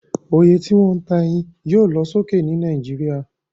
Oye tí wón ta eyin yio lo sókè ni Naijiria